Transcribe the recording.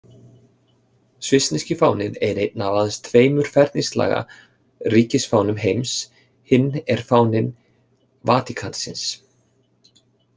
Svissneski fáninn er einn af aðeins tveimur ferningslaga ríkisfánum heims, hinn er fáni Vatíkansins.